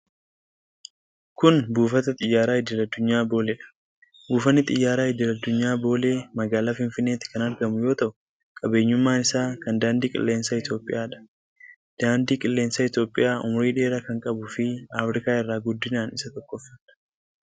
Kun, buufata xiyyaaraa idil addunyaa Boolee dha. Buufanni xiyyaaraa idil addunyaa Boolee magaalaa Finfinneetti kan argamu yoo ta'u, qabeenyummaan isaa kan daandii qilleensaa Itoophiyaa dha. Daandii qilleensaa Itoophiyaa umurii dheeraa kan qabuu fi Afriikaa irraa guddinaan isa tokkoffaa dha.